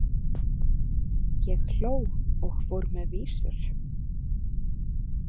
Ég hló og fór með vísur.